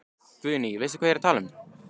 Guðný: Veistu hvað ég er að tala um?